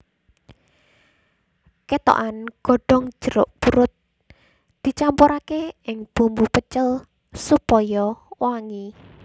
Kethokan godhong jeruk purut dicampuraké ing bumbu pecel supaya wangi